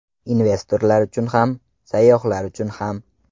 Investorlar uchun ham, sayyohlar uchun ham.